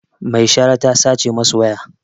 Mai shara ta sace masu waya